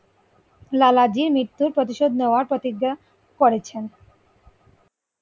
লালাজির মৃত্যুর প্রতিশোধ নেওয়ার প্রতিজ্ঞা করেছেন